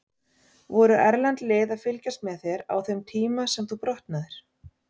Voru erlend lið að fylgjast með þér á þeim tíma sem þú brotnaðir?